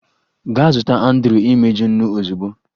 Gaa zụta Andrew imeju, nnu ozugbo!